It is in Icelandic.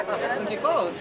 heyrðu